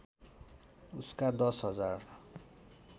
उसका दश हजार